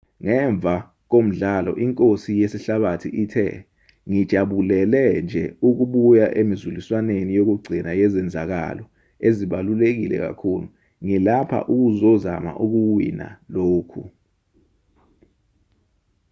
ngemva komdlalo inkosi yesihlabathi ithe ngijabulele nje ukubuya emizuliswaneni yokugcina yezenzakalo ezibaluleke kakhulu ngilapha ukuzozama ukuwina lokhu